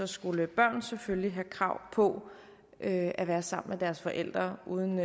skulle børn selvfølgelig have krav på at være sammen med deres forældre uden